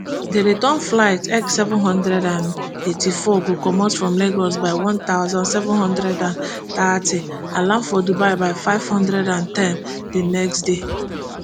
di return flight ekseven hundred and eighty-four go comot from lagos by one thousand, seven hundred and thirty and land for dubai by five hundred and ten di next day